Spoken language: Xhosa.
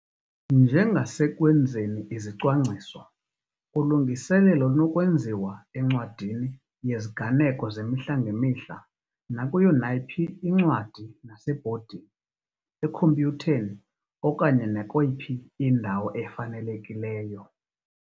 Njengasekwenzeni izicwangciso, ulungiselelo lunokwenziwa encwadini yeziganeko zemihla ngemihla, nakuyo nayiphi incwadi, nasebhodini, ekhompyutheni okanye nakweyiphi indawo efanelekileyo.